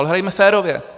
Ale hrajme férově.